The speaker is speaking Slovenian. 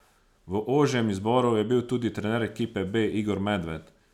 V ožjem izboru je bil tudi trener ekipe B Igor Medved.